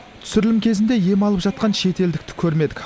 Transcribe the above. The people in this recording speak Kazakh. түсірілім кезінде ем алып жатқан шетелдікті көрмедік